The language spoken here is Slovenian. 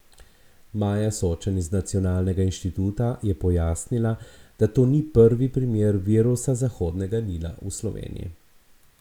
Maja Sočan iz nacionalnega inštituta je pojasnila, da to ni prvi primer virusa Zahodnega Nila v Sloveniji.